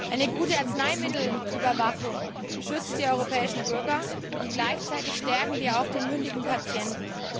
Eine gute Arzneimittelüberwachung schützt die europäischen Bürger, und gleichzeitig stärken wir auch den mündigen Patienten.